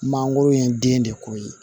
Mangoro ye den de ko ye